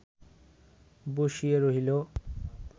বসিয়া রহিল